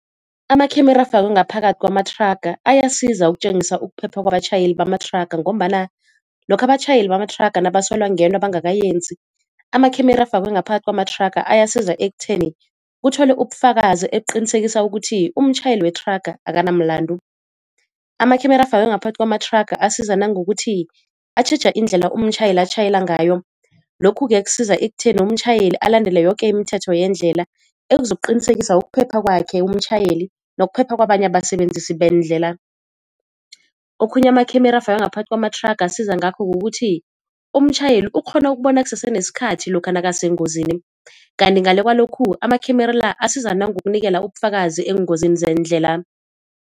Amakhemera afakwe ngaphakathi kwamathraga ayasiza ukutjengisa ukuphepha kwabatjhayeli bamathraga, ngombana lokha abatjhayeli bamathraga nabasolwa ngento abangakayenzi amakhemera afakwe ngaphakathi kwamathraga ayasiza ekutheni kutholwe ubufakazi ebuqinisekisa ukuthi umtjhayeli wethraga akanamlandu. Amakhemera afakwe ngaphakathi kwamathraga asiza nangokuthi atjheja indlela umtjhayeli atjhayela ngayo, lokhu-ke kusiza ekutheni umtjhayeli alandele yoke imithetho yendlela ekuzokuqinisekisa ukuphepha kwakhe umtjhayeli nokuphepha kwabanye abasebenzisi beendlela. Okhunye amakhemera afakwe ngaphakathi kwamathraga asiza ngakho kukuthi umtjhayeli ukghona ukubona kusese nesikhathi lokha nakasengozini. Kanti ngale kwalokhu amakhemera la asiza nangokunikela ubufakazi eengozini zeendlela.